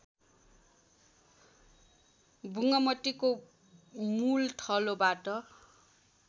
बुङ्मतीको मूल थलोबाट